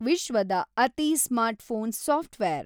ವಿಶ್ವದ ಅತಿ smartphone software